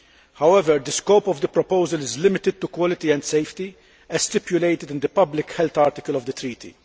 However, the scope of the proposal is limited to quality and safety as stipulated in the public health article of the treaty.